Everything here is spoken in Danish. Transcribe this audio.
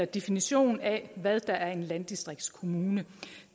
definition af hvad der er en landdistriktskommune